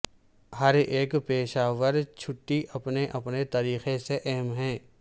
ہر ایک پیشہ ور چھٹی اپنے اپنے طریقے سے اہم ہے